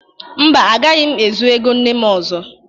Mba, agaghị m ezu ego nne m ọzọ.